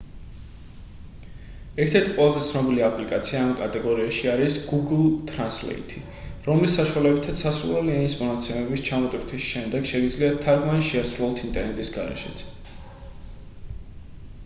ერთ-ერთი ყველაზე ცნობილი აპლიკაცია ამ კატეგორიაში არის გუგლ თრანსლეითი რომლის საშუალებითაც სასურველი ენის მონაცემების ჩამოტვირთვის შემდეგ შეგიძლიათ თარგმანი შეასრულოთ ინტერნეტის გარეშეც